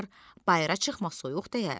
bayıra çıxma soyuq dəyər.